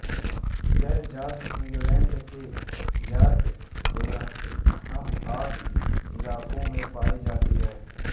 यह जाति इंग्लैंड के यॉर्क डूरहम आदि इलाकों में पाई जाती है